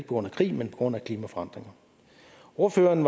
grund af krig men på grund af klimaforandringer ordføreren